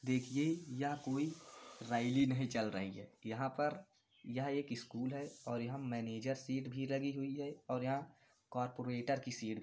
देखिए या कोई रैली नहीं चल रही है यहां पर यह एक स्कूल है और यहां मैनेजर सीट भी लगी हुई है और यहां कॉरपोरेटर की सीट --